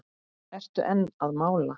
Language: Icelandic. Ertu enn að mála?